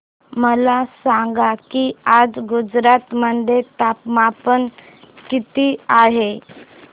मला सांगा की आज गुजरात मध्ये तापमान किता आहे